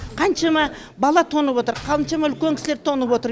қаншама бала тоңып отыр қаншама үлкен кісілер тоңып отыр